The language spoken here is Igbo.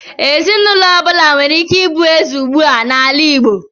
Ezinụlọ ọbụla nwere ike ịbụ eze ugbu a n'ala Igbo.